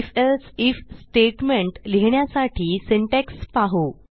if else if statement लिहिण्यासाठी syntax पाहू